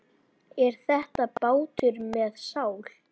Er þetta bátur með sál?